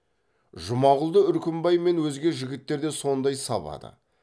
жұмағұлды үркімбай мен өзге жігіттер де сондай сабады